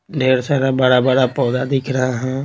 ढेर सारा बड़ा-बड़ा पौधा दिख रहा है।